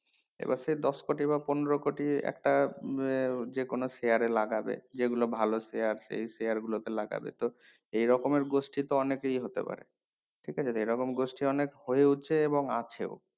এবার সেই দশ কোটি বা পনেরো কোটি একটা উম যে কোনো share এ লাগবে যে গুলো ভালো share এই share গুলো তে লাগবে তো এই রকমের গোষ্ঠী তো অনেকেই হতে পারে ঠিক আছে এই রকম গোষ্ঠী অনেক হয়েছে এবং আছে